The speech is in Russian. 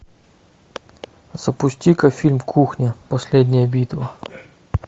запусти ка фильм кухня последняя битва